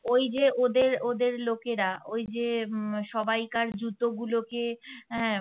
ওই যে ওদের ওদের লোকেরা ওইযে উম সবাইকার জুতোগুলোকে আহ